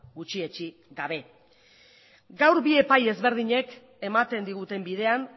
gutxietsi gabe gaur bi epai ezberdinek ematen diguten bidean